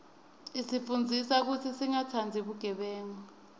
isifundzisa kutsi singatsandzi bugebengu